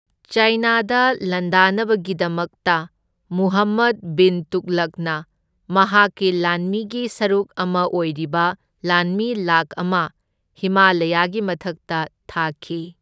ꯆꯥꯏꯅꯥꯗ ꯂꯥꯟꯗꯥꯅꯕꯒꯤꯗꯃꯛꯇ, ꯃꯨꯍꯝꯃꯗ ꯕꯤꯟ ꯇꯨꯒꯂꯛꯅ ꯃꯍꯥꯛꯀꯤ ꯂꯥꯟꯃꯤꯒꯤ ꯁꯔꯨꯛ ꯑꯃ ꯑꯣꯏꯔꯤꯕ ꯂꯥꯟꯃꯤ ꯂꯥꯛ ꯑꯃ ꯍꯤꯃꯥꯂꯌꯥꯒꯤ ꯃꯊꯛꯇ ꯊꯥꯈꯤ꯫